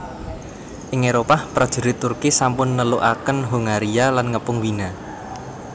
Ing Éropah prajurit Turki sampun nelukaken Hongaria lan ngepung Wina